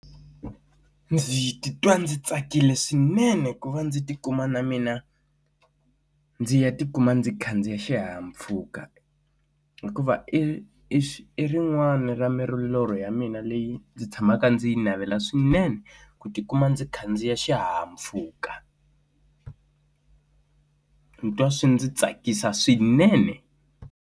Ndzi titwa ndzi tsakile swinene ku va ndzi ti kuma na mina ndzi ya ti kuma ndzi khandziye xihahampfhuka. Hikuva i i rin'wani ni ra milorho ya mina leyi ndzi tshamaka ndzi navela swinene ku ti kuma ndzi khandziya xihahampfhuka ndzi twa swi ndzi tsakisa swinene.